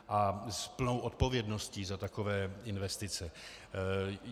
A s plnou odpovědností za takové investice.